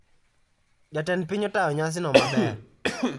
Jatend piny otayo nyasi no maber